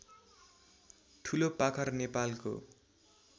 ठुलोपाखर नेपालको